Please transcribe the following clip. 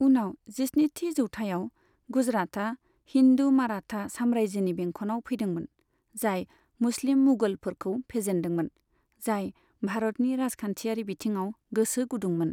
उनाव जिस्निथि जौथायाव, गुजरातआ हिन्दु माराठा साम्रायजोनि बेंखनाव फैदोंमोन, जाय मुस्लिम मुगलफोरखौ फेजेन्दोंमोन, जाय भारतनि राजखान्थियारि बिथिङाव गोसो गुदुंमोन।